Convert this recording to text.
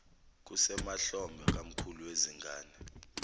kusemahlombe kamkhulu wezingane